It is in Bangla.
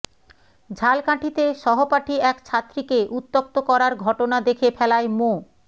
ঝালকাঠিতে সহপাঠী এক ছাত্রীকে উত্যক্ত করার ঘটনা দেখে ফেলায় মো